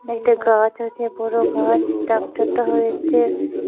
একটা গাছ আছে বড়ো গাছ ট্রাকটারটা হয়েছে।